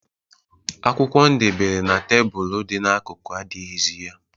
Akwụkwọ ndebere na tebulu dị n'akụkụ adịghịzị ya.